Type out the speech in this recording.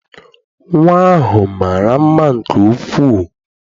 Nnwa ahụ mara mma nke ukwuu.